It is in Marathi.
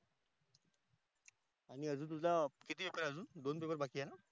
मी अजून तुझा किती पेपरा आहे अजून दोन दिवस बाकी आहे न?